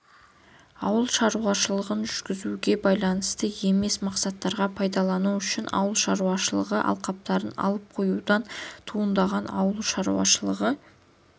ауыл шаруашылығын жүргізуге байланысты емес мақсаттарға пайдалану үшін ауыл шаруашылығы алқаптарын алып қоюдан туындаған ауыл шаруашылығы